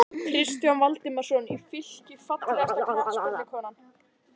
Kristján Valdimarsson í Fylki Fallegasta knattspyrnukonan?